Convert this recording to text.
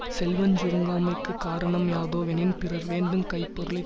செல்வஞ் சுருங்காமைக்குக் காரண மியாதோவெனின் பிறன் வேண்டுங் கைப்பொருளைத்